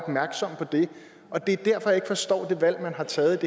opmærksomme på det og det er derfor ikke forstår det valg man har taget